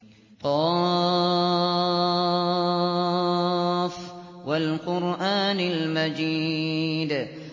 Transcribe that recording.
ق ۚ وَالْقُرْآنِ الْمَجِيدِ